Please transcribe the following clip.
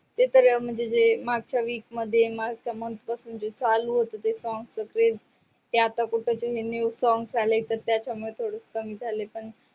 ते तर म्हणजे जे मागच्या week मध्ये मगच्या month पासून जे चालू होते सगळे त्या कुठ ते new songs आले. ते त्याच्या मूळ थोडस कमी झाल पण.